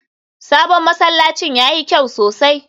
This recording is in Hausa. sabon masallacin yayi kyau sosai